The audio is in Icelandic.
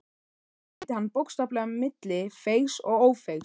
Hér skildi hann bókstaflega milli feigs og ófeigs.